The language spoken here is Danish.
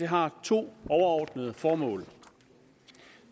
har to overordnede formål